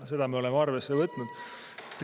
Seda me oleme arvesse võtnud.